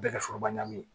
Bɛɛ kɛ foroba ɲami